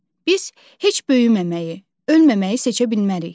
Biz heç böyüməməyi, ölməməyi seçə bilmərik.